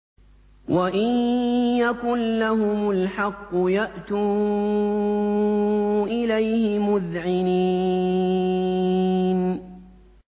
وَإِن يَكُن لَّهُمُ الْحَقُّ يَأْتُوا إِلَيْهِ مُذْعِنِينَ